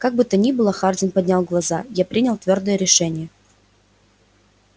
как бы то ни было хардин поднял глаза я принял твёрдое решение